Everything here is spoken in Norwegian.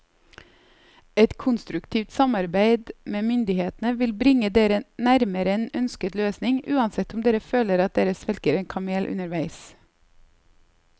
Et konstruktivt samarbeid med myndighetene vil bringe dere nærmere en ønsket løsning, uansett om dere føler at dere svelger en kamel underveis.